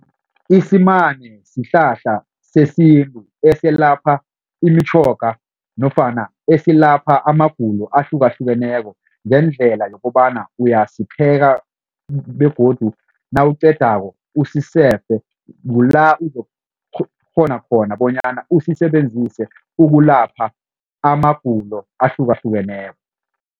Isimane sihlahla sesintu eselapha imitjhoga nofana esilapha amagulo ahlukahlukeneko ngendlela yokobana uyasipheka begodu nawuqedako usisefe kula uzokukghona khona bonyana usisebenzise ukulapha amagulo ahlukahlukeneko.